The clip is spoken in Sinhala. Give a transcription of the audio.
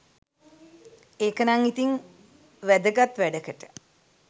ඒකනං ඉතින් වැදගත් වැඩකට